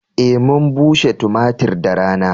Eh mun bushe tumatir da rana.